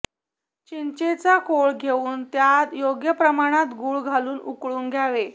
चिंचेचा कोळ घेऊन त्यात योग्य प्रमाणात गूळ घालून उकळून घ्यावे